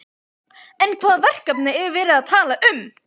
En hvaða verkefni er verið að tala um?